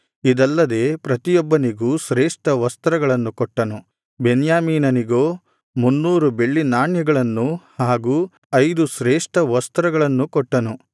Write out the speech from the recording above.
ಇದಲ್ಲದೆ ಪ್ರತಿಯೊಬ್ಬನಿಗೂ ಶ್ರೇಷ್ಠ ವಸ್ತ್ರಗಳನ್ನು ಕೊಟ್ಟನು ಬೆನ್ಯಾಮೀನನಿಗೋ ಮುನ್ನೂರು ಬೆಳ್ಳಿ ನಾಣ್ಯಗಳನ್ನೂ ಹಾಗೂ ಐದು ಶ್ರೇಷ್ಠ ವಸ್ತ್ರಗಳನ್ನೂ ಕೊಟ್ಟನು